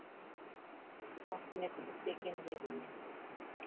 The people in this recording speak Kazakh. тауқыметті іс екен дедім мен